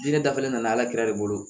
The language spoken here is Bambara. Diinɛ dafalen nana ala kira de bolo